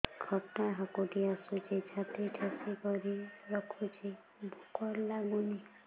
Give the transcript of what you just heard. ଖଟା ହାକୁଟି ଆସୁଛି ଛାତି ଠେସିକରି ରଖୁଛି ଭୁକ ଲାଗୁନି